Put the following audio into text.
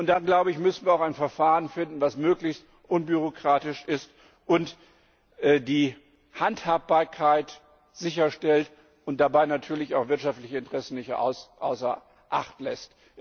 Und dann müssen wir drittens auch ein Verfahren finden, das möglichst unbürokratisch ist und die Handhabbarkeit sicherstellt und dabei natürlich auch wirtschaftliche Interessen nicht außer Acht lässt.